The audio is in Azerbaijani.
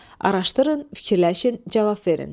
Araşdırın, fikirləşin, cavab verin.